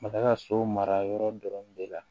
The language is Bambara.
A ka so mara yɔrɔ dɔrɔn de la